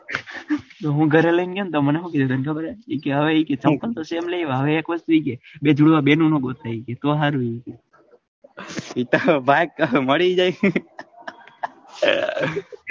હું ગરે લઈને ગયો તો મને હું કે ખબર કે હવે ચપ્પલ તો same લાયવા હવે એક વસ્તુ એ કે બે જુડવા બેનો નું ગોતીયે તો હારું ભાગ મળી જાય.